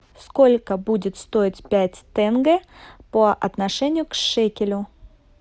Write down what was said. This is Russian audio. сколько будет стоить пять тенге по отношению к шекелю